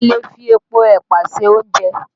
A lè fi epo ẹ̀pà ṣe oúnjẹ